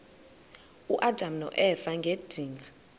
uadam noeva ngedinga